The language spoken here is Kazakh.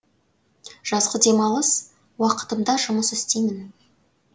жазғы демалыс уақытымда жұмыс істеймін